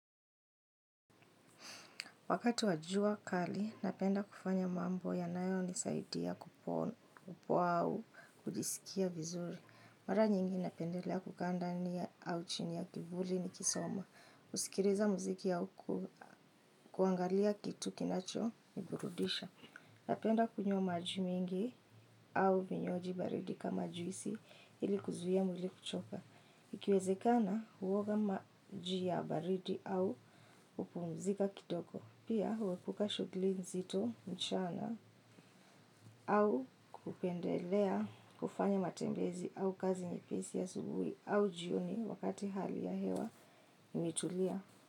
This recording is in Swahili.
Wakati wa jua kali, napenda kufanya mambo yanayonisaidia kupoa au kujisikia vizuri. Mara nyingi napendelea kukaa ndani ya au chini ya kivuli nikisoma. Kusikiliza muziki au kuangalia kitu kinachoniburudisha. Napenda kunywa maji mingi au vinywaji baridi kama juisi ili kuzuia mwili kuchoka. Ikiwezekana huoga maji ya baridi au hupumzika kitoko. Pia huepuka shugli nzito mchana au kupendelea kufanya matembezi au kazi nyepisi asubuhi au jioni wakati hali ya hewa imetulia.